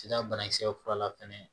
Sida banakisɛ fura la fɛnɛ